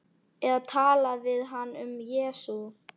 Eða tala við hann um Jesú.